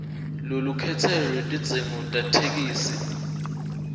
lwelukhetselo lwetidzingo tetheksthi